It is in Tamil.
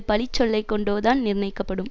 பழி சொல்லை கொண்டோதான் நிர்ணயிக்கப்படும்